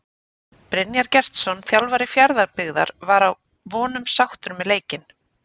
Brynjar Gestsson þjálfari Fjarðabyggðar var að vonum sáttur með leikinn.